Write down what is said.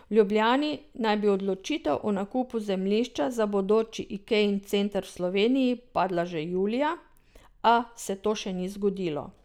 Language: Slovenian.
V Ljubljani naj bi odločitev o nakupu zemljišča za bodoči Ikejin center v Sloveniji padla že julija, a se to še ni zgodilo.